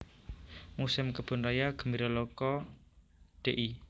Muséum Kebun Raya Gembiraloka Dl